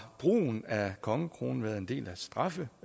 brugen af kongekronen været en del